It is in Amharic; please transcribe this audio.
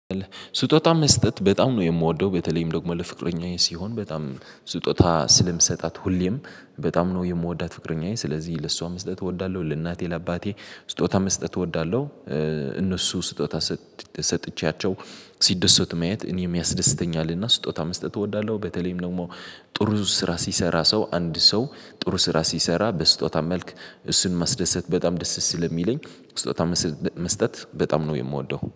ስጦታ መስጠት በጣም ነው የምወደው በተለይም ደግሞ ለፍቅረኛዬ ሲሆን በጣም ስጦታ ስለምሰጣት ሁሌም በጣም ነው የምወዳት ፍቅረኛዬ ስለዚህ ለሷ መስጠት እወዳለሁ ለእናቴ ለአባቴ ስጦታ መስጠት እወዳለሁ። እነሱ ስጦታ ሰጥቼያቸው ሲደሰቱ ማየት እኔም ያስደስተኛልና ስጦታ መስጠት እወዳለሁ በተለይም ደግሞ ጥሩ ስራ ሲሰራ ሰው አንድ ሰው ጥሩ ስራ ሲሰራ በስጦታ መልክ እሱን ማስደሰት በጣም ደስ ስለሚለኝ መስጠት በጣም ነው የምወደው።